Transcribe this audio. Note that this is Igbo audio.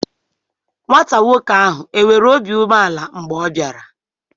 Nwata nwoke ahụ enwere obi umeala mgbe ọ bịara?